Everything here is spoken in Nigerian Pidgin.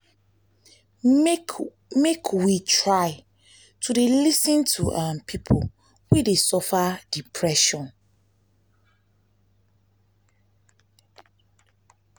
make make we try to dey lis ten to um pipo wey dey suffer depression.